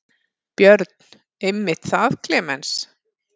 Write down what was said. Björn: Einmitt það Klemenz.